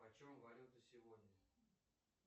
почем валюта сегодня